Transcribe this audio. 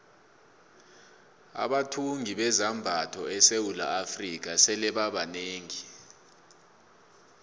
abathungi bezambatho esewula afrika sebaba banengi